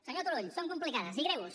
senyor turull són complicades i greus